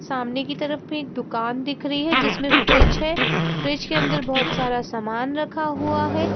सामने की तरफ में एक दुकान दिख रही हैजिसमें फ्रिज है फ्रिज के अंदर बहुत सारा सामान रखा हुआ है।